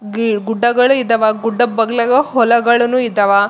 ಅಲ್ಲ್ ಗುಡ್ಡಗಳು ಇದಾವ ಗುಡ್ಡ ಪಗ್ಲಾಗ ಹೊಲಗಳನು ಇದಾವ.